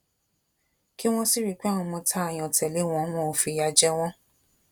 kí wọn sì rí i pé àwọn ọmọ tá a yàn tẹlẹ wọn wọn ò fìyà jẹ wọn